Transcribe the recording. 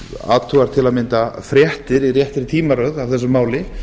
athugar til að mynda fréttir í réttri tímaröð af þessu máli